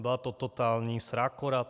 Byla to totální srágora.